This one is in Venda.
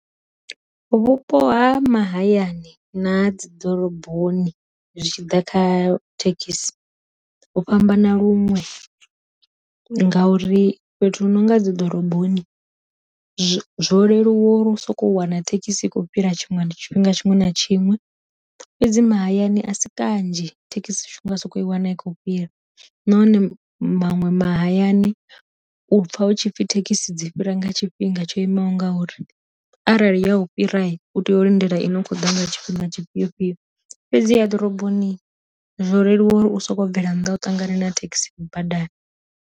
Vhupo ha mahayani na ha dzi ḓoroboni zwi tshi ḓa kha thekhisi ho fhambana luṅwe, ngauri fhethu hunonga dzi ḓoroboni zwo zwo leluwa uri u soko wana thekhisi i khou fhira tshiṅwe ndi tshifhinga tshiṅwe na tshiṅwe, fhedzi mahayani a si kanzhi thekhisi u tshi nga soko i wana i khou fhira, nahone maṅwe mahayani u pfa hu tshipfi thekhisi dzi fhira nga tshifhinga tsho i maho ngauri, arali ya u fhira u tea u lindela ine u khou ḓa nga tshifhinga tshifhio fhio, fhedziha ḓoroboni zwo leluwa uri u soko bvela nnḓa u ṱangane na thekhisi badani.